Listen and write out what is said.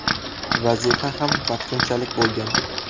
Vazifa ham vaqtinchalik bo‘lgan.